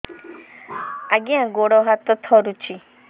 ଆଜ୍ଞା ଗୋଡ଼ ହାତ ଥରୁଛି